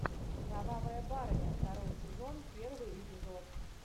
кровавая барыня второй сезон первый эпизод